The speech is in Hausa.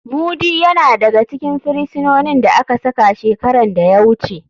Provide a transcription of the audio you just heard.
Mudi yana daga cikin firisinonin da aka saka shekaran da ya wuce.